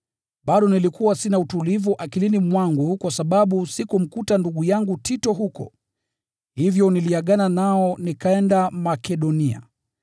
bado nilikuwa sina utulivu akilini mwangu kwa sababu sikumkuta ndugu yangu Tito huko. Hivyo niliagana nao nikaenda Makedonia.